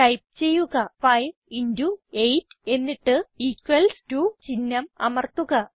type ചെയ്യുക 58 എന്നിട്ട് അടയാളം അമർത്തുക